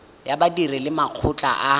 ya badiri le makgotla a